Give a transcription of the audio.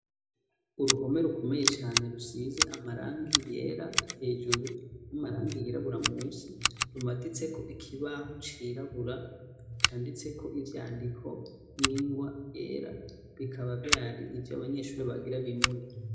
Uruhome rukomeye cane rusize amarangi yera hejuru n'amarangi yirabura musi rumatitse ko ikibaho cirabura canditse ko ibyandiko n'ingwa yera bikaba byari ibyo abanyeshuri bagira bimure